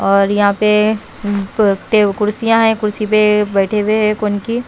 और यहाँ पे कुर्सियाँ है कुर्सी पे बैठे हुए हैं कौनकी--